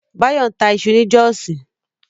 Báyọ̀ ń ta iṣu ni Jọ́ọ̀sí